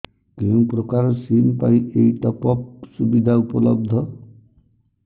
କେଉଁ ପ୍ରକାର ସିମ୍ ପାଇଁ ଏଇ ଟପ୍ଅପ୍ ସୁବିଧା ଉପଲବ୍ଧ